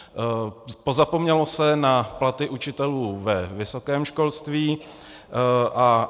Pozapomnělo se na platy učitelů ve vysokém školství.